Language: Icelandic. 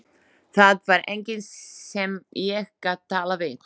Það var enginn sem ég gat talað við.